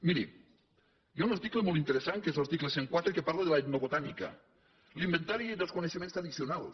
miri hi ha un article molt interessant que és l’article cent i quatre que parla de l’etnobotànica l’inventari dels coneixements tradicionals